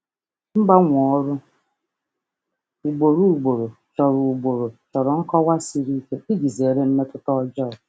Mgbanwe ọrụ ugboro ugboro chọrọ ugboro chọrọ nkọwa siri ike iji zere mmetụta ọjọọ.